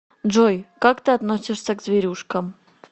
джой как ты относишься к зверюшкам